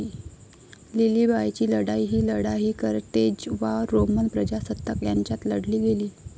लिलिबायची लढाई ही लढाई कर्तेज वा रोमन प्रजासत्ताक यांच्यात लढली गेली.